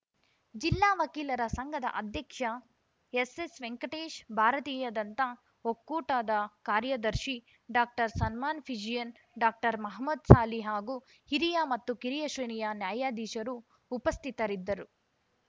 ಜಿಲ್ಲಾ ವಕೀಲರ ಸಂಘದ ಅಧ್ಯಕ್ಷ ಎಸ್‌ಎಸ್‌ವೆಂಕಟೇಶ್‌ ಭಾರತೀಯ ದಂತ ಒಕ್ಕೂಟದ ಕಾರ್ಯದರ್ಶಿ ಡಾಕ್ಟರ್ಸನ್ಮಾನ್‌ ಫಿಜಿಯನ್‌ ಡಾಕ್ಟರ್ ಮಹಮದ್‌ ಸಾಲಿ ಹಾಗೂ ಹಿರಿಯ ಮತ್ತು ಕಿರಿಯ ಶ್ರೇಣಿಯ ನ್ಯಾಯಾಧೀಶರು ಉಪಸ್ಥಿತರಿದ್ದರು